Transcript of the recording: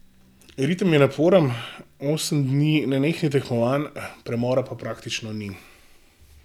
Ritem je naporen, osem dni nenehnih tekmovanj, premora pa praktično ni.